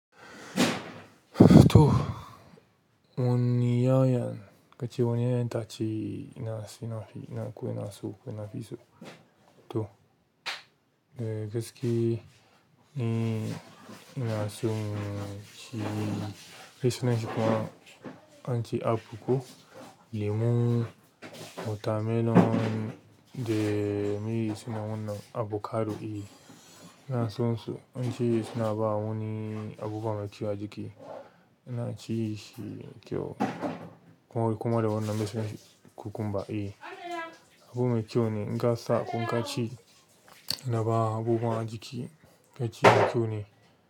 To woniya yan, kace woni ya yan itachi ina si, ina fi, ina ko ina so ko ina fi so. To, eh gaske em ina son ci me sunanshi kuma ance apple ko lemo watermelon da me sunna wanan avocado eh ina son su ance suna bada wani abubuwa a jiki ina ci shi kyau kuma da wannan mesunanshi cucumber e. Abubuwan mai kyau ne. In ka sa in ka ci, yana ba wa abubuwan a jiki ka ci mai kyau ne.